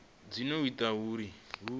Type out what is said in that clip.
dzi do ita uri hu